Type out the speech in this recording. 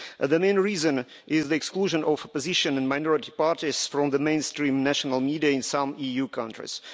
The main reason is the exclusion of opposition and minority parties from the mainstream national media in some EU countries.